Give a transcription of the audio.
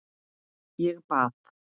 Ég bað